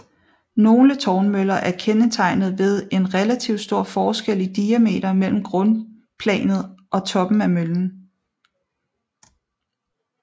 Nogle tårnmøller er kendetegnet ved en relativt stor forskel i diameter mellem grundplanet og toppen af møllen